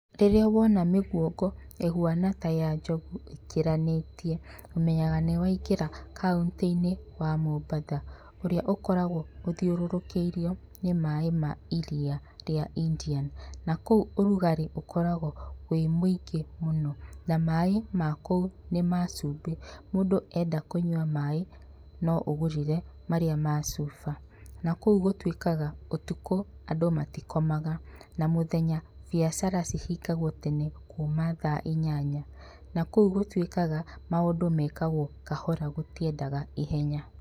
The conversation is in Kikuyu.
Rĩrĩa wona mĩguongo ĩhuana ta ya njogu ĩkĩranĩtie ũmenyega nĩ wa ingĩra kauntĩ-inĩ wa Mombatha, ũrĩa ũkoragwo ũthiũrũrũkĩirio nĩ nĩ maĩ ma iria rĩa Indian, na kũu ũrugarĩ ũkoragwo wĩ mũingĩ na maĩ makũu nĩ macumbĩ, mũndũ enda kũnyua maĩ no ũgũrire marĩa ma chuba na kũu gũtuĩkaga ũtukũ andũ matikomaga na mũthenya biacara cihingagwo tene kuma thaa inyanya na kũu gũtuĩkaga maũndũ mekagwo kahora gũtiendaga ihenya.